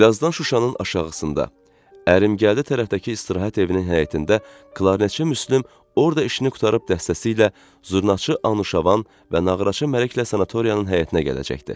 Birazdan Şuşanın aşağısında ərim gəldi tərəfdəki istirahət evinin həyətində Klarneçə Müslüm orda işini qurtarıb dəstəsi ilə zurnaçı Anuşavan və nağaraçı Mələklə sanatoriyanın həyətinə gələcəkdi.